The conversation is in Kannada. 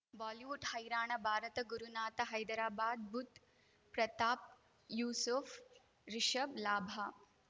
ಬಾಲಿವುಡ್ ಹೈರಾಣ ಭಾರತ ಗುರುನಾಥ ಹೈದರಾಬಾದ್ ಬುಧ್ ಪ್ರತಾಪ್ ಯೂಸುಫ್ ರಿಷಬ್ ಲಾಭ